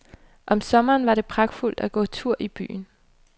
Om sommeren var det pragtfuldt at gå tur i byen.